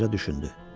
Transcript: Qoca düşündü.